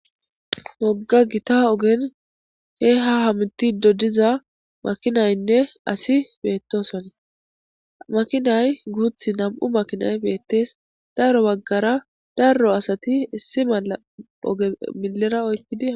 wogga gita ogen he ha hamti dodiza makinaynne asi beettosane makinay guuthi nam7u makinay beettees darro baggara daro asati issi malla oge millera oykkidi